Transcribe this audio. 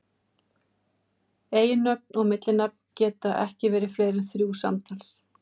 Eiginnöfn og millinafn geta ekki verið fleiri en þrjú samtals.